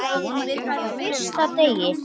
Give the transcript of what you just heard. Frá fyrsta degi.